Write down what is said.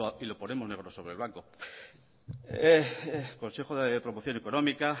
y lo ponemos negro sobre blanco consejo de promoción económica